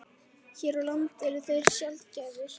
Hér á landi eru þeir sjaldgæfir.